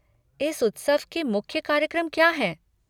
इस उत्सव के मुख्य कार्यक्रम क्या हैं?